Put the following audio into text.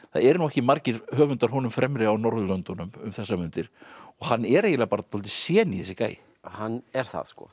það eru ekki margir höfundar honum fremri á Norðurlöndunum um þessar mundir og hann er eiginlega bara dálítið sjení þessi gæi hann er það